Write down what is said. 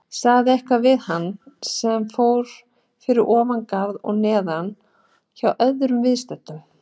Sagði eitthvað við hann sem fór fyrir ofan garð og neðan hjá öðrum viðstöddum.